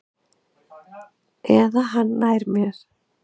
Eða hann nær mér.